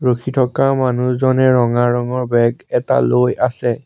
ৰখি থকা মানুহজনে ৰঙা ৰঙৰ বেগ এটা লৈ আছে।